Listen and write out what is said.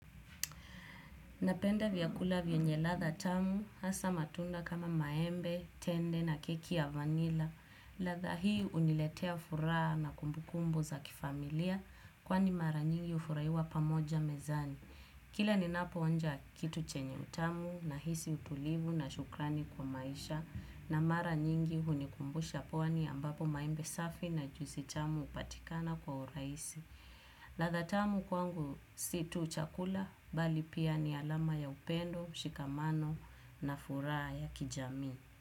Napenda vyakula vyenye ladha tamu, hasa matunda kama maembe, tende na keki ya vanila. Ladha hii huniletea furaha na kumbukumbu za kifamilia kwani mara nyingi hufuraiwa pamoja mezani. Kila ninapoonja kitu chenye utamu nahisi utulivu na shukrani kwa maisha na mara nyingi hunikumbusha pwani ambapo maembe safi na juisi tamu hupatikana kwa urahisi. Ladha tamu kwangu si tu chakula bali pia ni alama ya upendo, mshikamano na furaha ya kijamii.